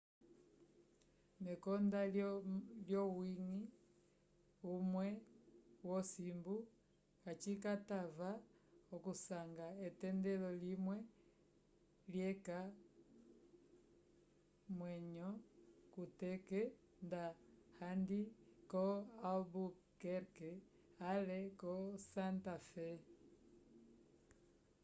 mekonda lyowiñgi umwe wosimbu kacikatava okusanga etendelo limwe lyeca omwenyo kuteke nda kandi ko albuquerque ale ko santa fé